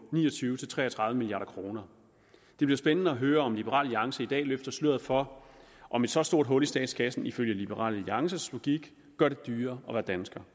ni og tyve til tre og tredive milliard kroner det bliver spændende at høre om liberal alliance i dag løfter sløret for om et så stort hul i statskassen ifølge liberal alliances logik gør det dyrere at være dansker